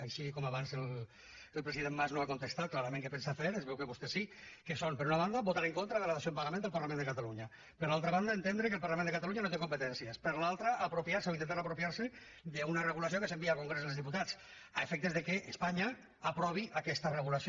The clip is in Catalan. així com abans el president mas no ha contestat clarament què pensa fer es veu que vostès sí que és per una banda votar en contra de la dació en pagament del parlament de catalunya per altra banda entendre que el parlament de catalunya no té competències per l’altra apropiar se o intentar apropiar se d’una regulació que s’envia al congrés dels diputats a efectes que espanya aprovi aquesta regulació